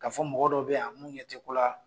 Ka fɔ mɔgɔ dɔ bɛ yan mun ɲɛ tɛ ko la,